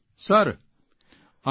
sir અમે